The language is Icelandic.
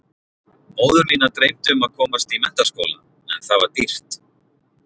Móður mína dreymdi um að komast í menntaskóla en það var dýrt.